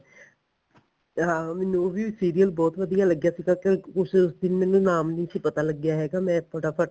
ਹਾਂ ਮੈਨੂੰ ਉਹ ਵੀ serial ਬਹੁਤ ਵਧੀਆ ਲੱਗਿਆ ਸੀਗਾ ਕਿਉਂਕਿ ਉਸ serial ਦਾ ਮੈਨੂੰ ਨਾਮ ਨੀ ਸੀ ਪਤਾ ਲੱਗਿਆ ਹੈਗਾ ਮੈਂ ਫਟਾਫਟ